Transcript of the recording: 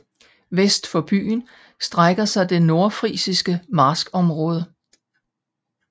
Vest for byen strækker sig det nordfrisiske marskområde